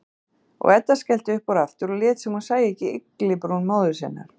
Og Edda skellti upp úr aftur, lét sem hún sæi ekki ygglibrún móður sinnar.